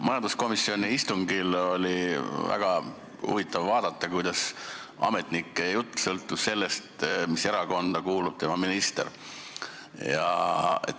Majanduskomisjoni istungil oli väga huvitav vaadata, kuidas ametniku jutt sõltus sellest, mis erakonda kuulub tema minister.